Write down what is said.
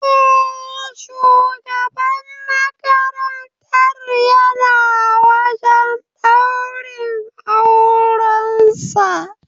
Eh, shugaban makarantar yana wajan daurin auran sa